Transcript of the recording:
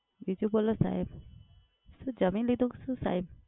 બીજું બોલો સાહેબ. શું જમી લીધું, શું સાહેબ?